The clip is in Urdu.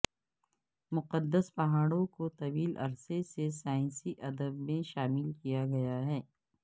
مقدس پہاڑوں کو طویل عرصے سے سائنسی ادب میں شامل کیا گیا ہے